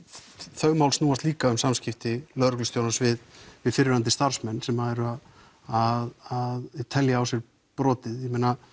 þau mál snúast líka um samskipti lögreglustjórans við við fyrrverandi starfsmenn sem eru að telja á sér brotið